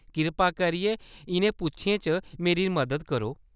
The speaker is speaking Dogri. कृपा करियै इʼनें पुच्छें च मेरी मदद करो।